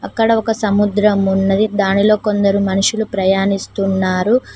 అక్కడ ఒక సముద్రం ఉన్నది దానిలో కొందరు మనుషులు ప్రయాణిస్తున్నారు.